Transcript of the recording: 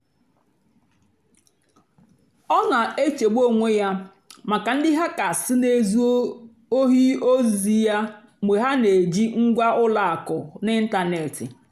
ọ́ hazírí njém nlègharị́ ányá túpú yá ézúté ndí ényí má émécháá nà mgbedé áhụ̀.